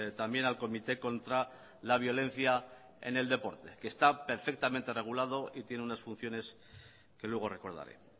también al comité contra la violencia en el deporte que está perfectamente regulado y tiene unas funciones que luego recordaré